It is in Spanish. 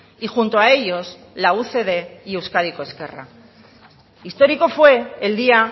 y junto a ellos la ucd y euskadiko ezkerra histórico fue el día